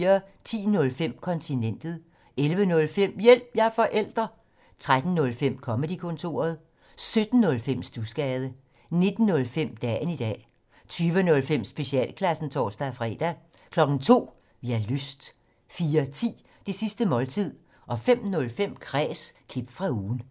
10:05: Kontinentet 11:05: Hjælp – jeg er forælder! 13:05: Comedy-kontoret 17:05: Studsgade 19:05: Dagen i dag 20:05: Specialklassen (tor-fre) 02:00: Vi har lyst 04:10: Det sidste måltid 05:05: Kræs – klip fra ugen